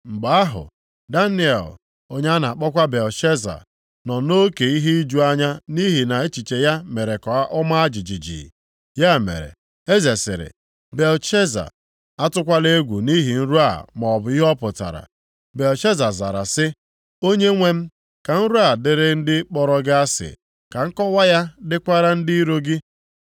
Mgbe ahụ Daniel (onye a na-akpọkwa Belteshaza), nọ nʼoke ihe iju anya nʼihi na echiche ya mere ka ọma jijiji. Ya mere, eze sịrị, “Belteshaza, atụkwala egwu nʼihi nrọ a maọbụ ihe ọ pụtara.” Belteshaza zara sị, “Onyenwe m, ka nrọ a dịrị ndị kpọrọ gị asị, ka nkọwa ya dịkwara ndị iro gị.